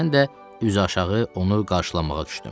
Mən də üzüaşağı onu qarşılamağa düşdüm.